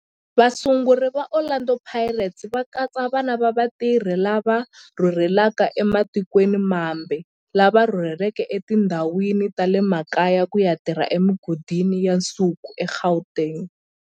Vasunguri va Orlando Pirates va katsa vana va vatirhi lava rhurhelaka ematikweni mambe lava rhurheleke etindhawini ta le makaya ku ya tirha emigodini ya nsuku eGauteng.